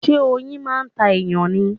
Ṣé oyin máà ń ta èyàn ni?